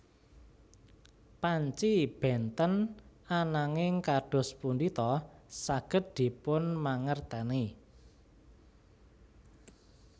Panci bènten ananging kados pundi ta saged dipun mangertèni